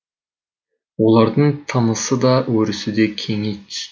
олардың тынысы да өрісі де кеңи түсті